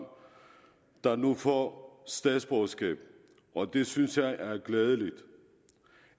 der nu får statsborgerskab og det synes jeg er glædeligt